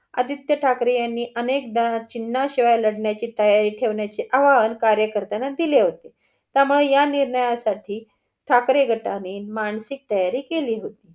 आदित्य ठाकरे यांनी अनेकदा चिन्हा शिवाय लढण्याची तयारी ठेवण्याची आव्हान कार्यकर्तांना दिले होते. त्यामुळे ह्या निर्णयासाठी ठाकरे गटाने मानसिक तयारी केली होती.